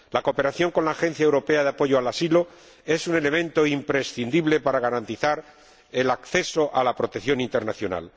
La cooperación con la Oficina Europea de Apoyo al Asilo es un elemento imprescindible para garantizar el acceso a la protección internacional.